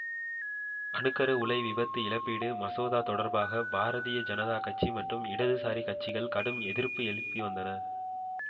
அணு கரு உலை விபத்து இழப்பீடு மசோதா தொடர்பாக பாரதிய ஜனதா கட்சி மற்றும் இடதுசாரி கட்சிகள் கடும் எதிர்ப்பு எழுப்பி வந்தன